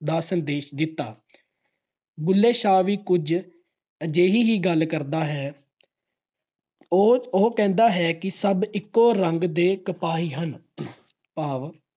ਦਾ ਸੰਦੇਸ਼ ਦਿੱਤਾ। ਬੁੱਲ੍ਹੇ ਸ਼ਾਹ ਵੀ ਕੁਝ ਅਜਿਹੀ ਹੀ ਗੱਲ ਕਰਦਾ ਹੈ ਉਹ ਅਹ ਉਹ ਕਹਿੰਦਾ ਹੈ ਸਭ ਇਕੋ ਰੰਗ ਦੇ ਕਪਾਹੀ ਹਨ। ਭਾਵ